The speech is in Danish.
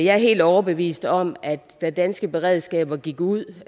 jeg er helt overbevist om at da danske beredskaber gik ud